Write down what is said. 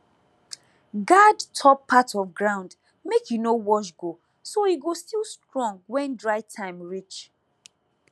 guard top part of ground make e no wash go so e go still strong when dry time reach